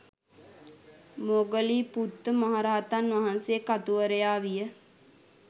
මොග්ගලීපුත්ත මහරහතන් වහන්සේ කතුවරයා විය.